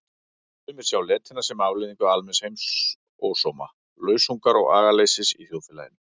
Sumir sjá letina sem afleiðingu almenns heimsósóma, lausungar og agaleysis í þjóðfélaginu.